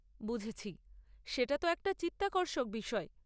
বুঝেছি। সেটা তো একটা চিত্তাকর্ষক বিষয়।